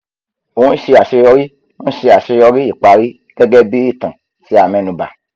ò ń ṣe àṣeyọrí ń ṣe àṣeyọrí ìparí gẹ́gẹ́ bí ìtàn tí a mẹ́nu bà